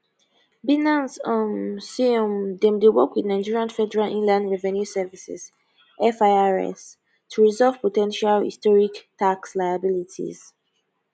binance um say um dem dey work with nigeria federal inland revenue service firs to resolve po ten tial historic tax liabilities